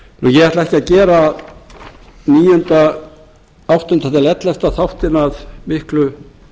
ég ætla ekki að gera áttundi til ellefta þáttinn að miklu